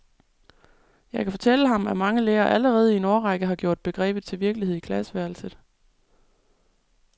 Jeg kan fortælle ham, at mange lærere allerede i en årrække har gjort begrebet til virkelighed i klasseværelset.